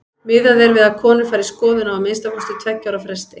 Miðað er við að konur fari í skoðun á að minnsta kosti tveggja ára fresti.